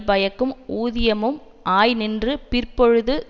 பயக்கும் ஊதியமும் ஆய் நின்று பிற்பொழுது